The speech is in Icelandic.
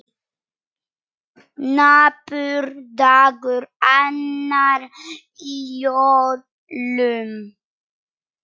Napur dagur, annar í jólum.